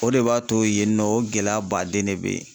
O de b'a to yen nɔ o gɛlɛya baden de bɛ yen